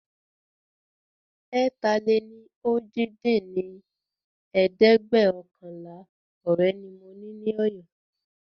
ẹ̀ta-lé-ní-ojì dín ní ẹ̀ẹ́dẹ́gbẹ́ọ̀kànlá ọ̀rẹ́ ni mo ní Ọ̀yọ́